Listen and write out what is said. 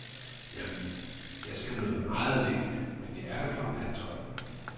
Jamen, jeg skal noget meget vigtigt, men jeg er der klokken halvtolv.